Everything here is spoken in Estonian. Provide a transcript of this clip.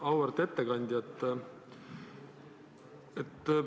Auväärt ettekandja!